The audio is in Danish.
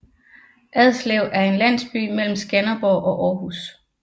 Adslev er en landsby mellem Skanderborg og Aarhus